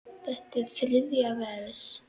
Þetta er þriðja vers.